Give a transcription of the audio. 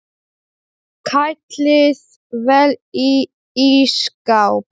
Ég á aðrar jarðir.